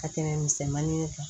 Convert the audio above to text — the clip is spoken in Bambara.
Ka tɛmɛ misɛnmanin kan